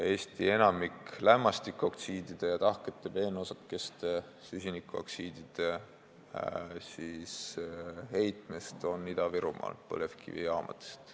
Enamik Eesti lämmastikoksiidide ja tahkete peenosakeste, süsinikoksiidide heitmest on pärit Ida-Virumaalt, põlevkivijaamadest.